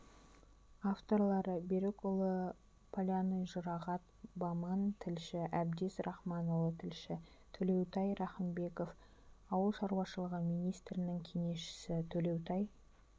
авторлары берікұлы полянный жұрағат баман тілші әбдез рахманұлы тілші төлеутай рахымбеков ауыл шаруашылығы министрінің кеңесшісі төлеутай